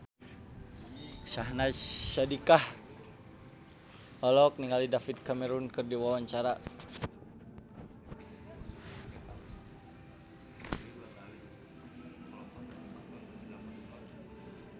Syahnaz Sadiqah olohok ningali David Cameron keur diwawancara